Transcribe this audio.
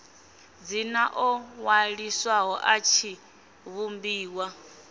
dzina ḽo ṅwaliswaho ḽa tshivhumbiwa